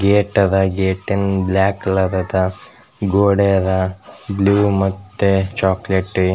Gate ಅದ್ ಗೇಟಿನ್ black colour ಅದ್ ಗೋಡೆ ಅದ್ ಬ್ಲೂ ಮತ್ತೆ ಚೊಕೊಲೇಟಿ .